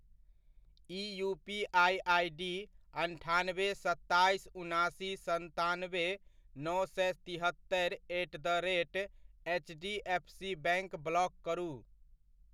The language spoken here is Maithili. ई यूपीआइ आइडी अन्ठानबे, सत्ताइस, उनासी, सन्तानबे, नओ सए तिहत्तरि at the rate HDFC bank block करू।